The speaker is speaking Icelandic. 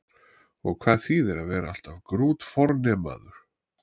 Og hvað þýðir að vera alltaf grútfornemaður?